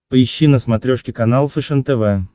поищи на смотрешке канал фэшен тв